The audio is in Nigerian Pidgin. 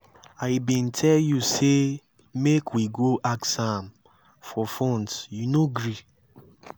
i bin tell you say make we go ask am for funds you no gree